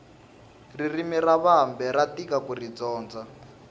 ririmi ra vambe ra tika kuri dyondza